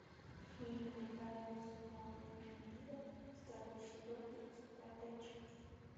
фильм тайны смолвиля второй сезон тридцать пятая часть